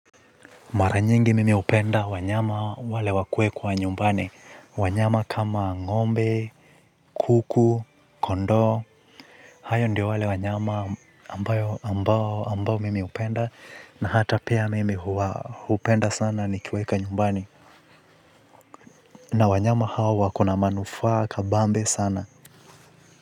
Mara nyingi mimi hupenda wanyama wale wakuekwa nyumbani. Wanyama kama ng'ombe, kuku, kondoo. Hayo ndiyo wale wanyama ambao mimi hupenda na hata pia mimi hupenda sana nikiweka nyumbani. Wanyama hao wakona manufaa kabambe sana.